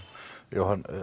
Jóhann